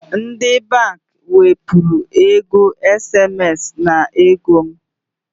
Ndi bank wepuru ego SMS n'ego m